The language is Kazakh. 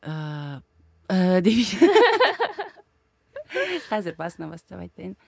қазір басынан бастап айтайын